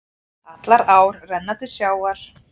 Allar ár renna til sjávar.